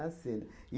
cena.